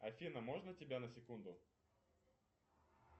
афина можно тебя на секунду